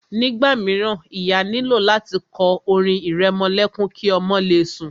Nígbà míràn, ìyá nílò láti kọ orin ìrẹmọlẹ́kún ki ọmọ le sùn.